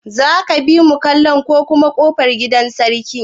Za ka bimu kallon kokuwar kofar gidan sarki?